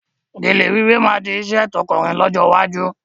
Gèlè wíwé máa di iṣẹ́ tọ̀kúnrin lọ́jọ́ iwájú